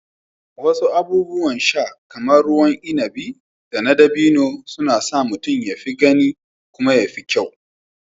Wasu abubuwan sha kamar ruwan inabi na dabino suna sa wani ya fi gani kuma ya fi kyau.